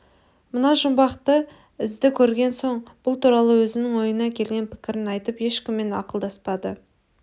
мына жұмбақты ізді көрген соң бұл туралы өзінің ойына келген пікірін айтып ешкіммен ақылдаспады